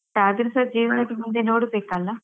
ಆದ್ರೆಸ ಜೀವನದ್ದು ಮುಂದೆ ನೋಡ್ಬೇಕಲ್ಲ.